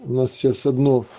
у нас сейчас одно